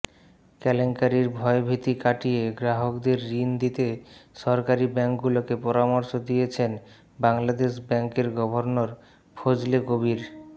কেলেঙ্কারির ভয়ভীতি কাটিয়ে গ্রাহকদের ঋণ দিতে সরকারি ব্যাংকগুলোকে পরামর্শ দিয়েছেন বাংলাদেশ ব্যাংকের গভর্নর ফজলে কবির